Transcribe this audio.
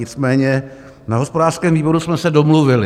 Nicméně na hospodářském výboru jsme se domluvili.